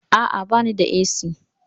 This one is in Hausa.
Aa, bani da AC